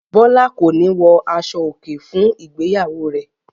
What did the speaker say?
Bọ́lá kò ní wọ aṣọòkè fún ìgbéyàwó rẹ̀.